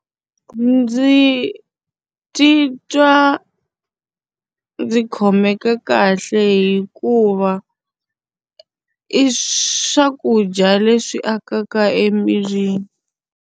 Ndzi titwa ndzi khomeka kahle hikuva i swakudya leswi akaka emirini.